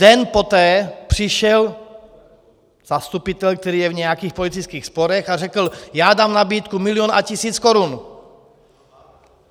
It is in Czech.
Den poté přišel zastupitel, který je v nějakých politických sporech, a řekl: já dám nabídku milion a tisíc korun.